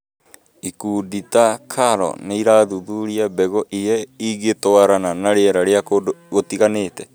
Ikundi ta KALRO nĩ irathuthuria mbegũ iria ingĩtwarana na rĩera rĩa kũndũ gũtiganĩte.